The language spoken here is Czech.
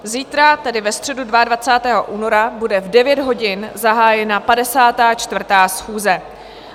Zítra, tedy ve středu 22. února, bude v 9 hodin zahájena 54. schůze.